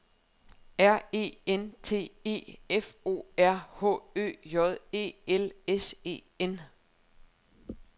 R E N T E F O R H Ø J E L S E N